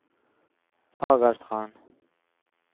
Fagerstrand